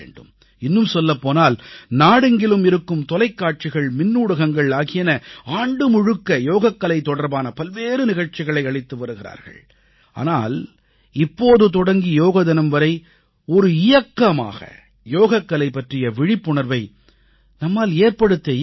இன்னும் சொல்லப் போனால் நாடெங்கிலும் இருக்கும் தொலைக்காட்சிகள் மின்னூடகங்கள் ஆகியன ஆண்டு முழுக்க யோகக்கலை தொடர்பான பல்வேறு நிகழ்ச்சிகளை அளித்து வருகிறார்கள் ஆனால் இப்போது தொடங்கி யோக தினம் வரை ஒரு இயக்கமாக யோகக்கலை பற்றிய விழிப்புணர்வை நம்மால் ஏற்படுத்த இயலுமா